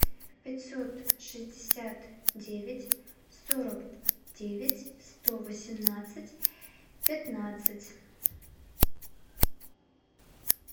пятьсот шестьдесят девять сорок девять сто восемнадцать пятнадцать